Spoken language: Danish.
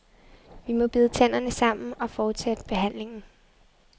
Vi må bide tænderne sammen og fortsætte behandlingen.